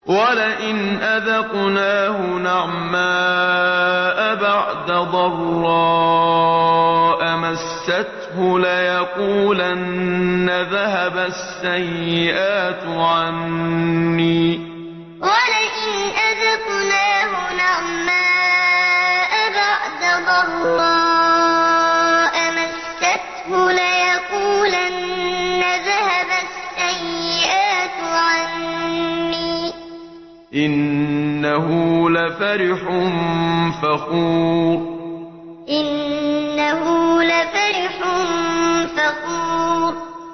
وَلَئِنْ أَذَقْنَاهُ نَعْمَاءَ بَعْدَ ضَرَّاءَ مَسَّتْهُ لَيَقُولَنَّ ذَهَبَ السَّيِّئَاتُ عَنِّي ۚ إِنَّهُ لَفَرِحٌ فَخُورٌ وَلَئِنْ أَذَقْنَاهُ نَعْمَاءَ بَعْدَ ضَرَّاءَ مَسَّتْهُ لَيَقُولَنَّ ذَهَبَ السَّيِّئَاتُ عَنِّي ۚ إِنَّهُ لَفَرِحٌ فَخُورٌ